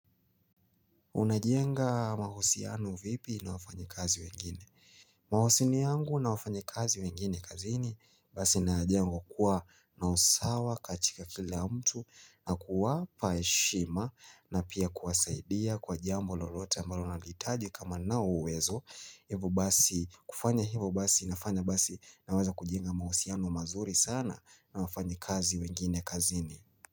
Unajenga mahusiano vipi na wafanyakazi wengine? Mahusiano yangu na wafanyikazi wengine kazini Basi nayajenga kwa kuwa na usawa katika kila mtu na kuwapa heshima na pia kuwasaidia kwa jambo lolote ambalo wanalihitaji kama ninao uwezo Hivyo basi kufanya hivyo basi inafanya basi naweza kujenga mahusiano mazuri sana na wafanyikazi wengine kazini.